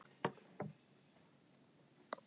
VINÁTTA- er grunnur að svo mörgu góðu.